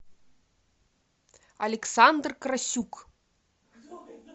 александр красюк